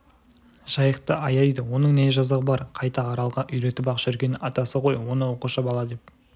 жайықты аяйды оның не жазығы бар қайта аралға үйретіп-ақ жүргені атасы ғой оны оқушы бала деп